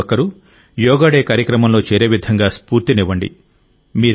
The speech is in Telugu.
ప్రతి ఒక్కరూ యోగా డే కార్యక్రమంలో చేరేవిధంగా స్ఫూర్తినివ్వండి